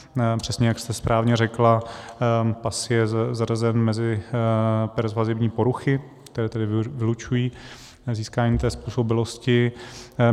Přesně jak jste správně řekla, PAS je zařazen mezi persvazivní poruchy, které tedy vylučují získání té způsobilosti.